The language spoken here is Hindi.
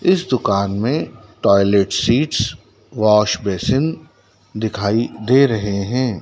इस दुकान में टॉयलेट सीट्स वॉश बेसिन दिखाई दे रहे हैं।